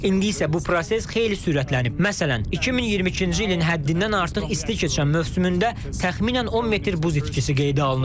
İndi isə bu proses xeyli sürətlənib, məsələn, 2022-ci ilin həddindən artıq isti keçən mövsümündə təxminən 10 metr buz itkisi qeydə alınıb.